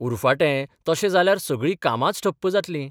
उरफाटें तशें जाल्यार सगळी कामांच ठप्प जातलीं.